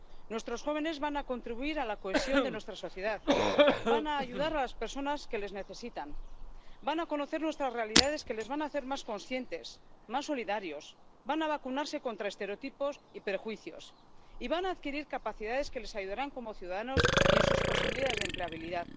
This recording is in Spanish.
Nuestros jóvenes van a contribuir a la cohesión de nuestra sociedad, van a ayudar a las personas que les necesitan, van a conocer otras realidades que les van a hacer más conscientes, más solidarios, van a vacunarse contra estereotipos y prejuicios, y van a adquirir capacidades que les ayudarán como ciudadanos y en sus posibilidades de empleabilidad.